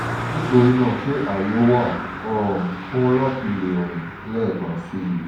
nitorina ṣe aye wa um fun lati le rin lẹẹkan si?